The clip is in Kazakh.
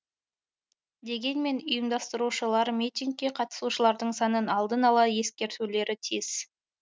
дегенмен ұйымдастырушылар митингке қатысушылардың санын алдын ала ескертулері тиіс